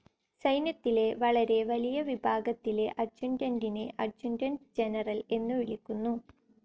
സൈന്യത്തിലെ വളരെ വലിയ വിഭാഗത്തിലെ അഡ്ജുറ്റന്റിനെ അഡ്ജുറ്റന്റ്‌ ജനറൽ എന്നു വിളിക്കുന്നു.